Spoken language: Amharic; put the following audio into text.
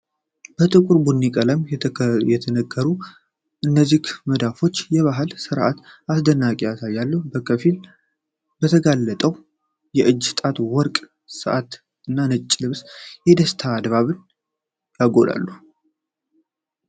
በጥቁር ቡኒ ቀለም የተነከሩት እነዚህ መዳፎች የባህል ሥርዓትን አስደናቂነት ያሳያሉ። በከፊል የተጋለጠው የእጅ ጣት ወርቅ ሰዓት እና ነጭ ልብስ፣ የደስታን ድባብ ያጎላሉ።